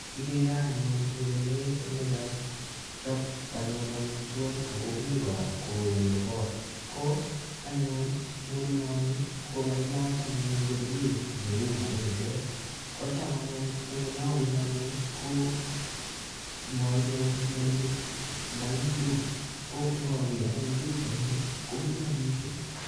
Kigere anyun murenet nekachop anyun amitwok ago mi kora kouni kot ko anyun murenoni ko kailach anyun ngoriet neu marindet. Kocham anyun eng olabunu anne ko mailochi murenik marindok ko ngager anyun pichaini komilan mising.